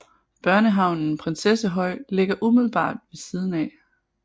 Børnehavnen Prinsessehøj ligger umiddelbart ved siden af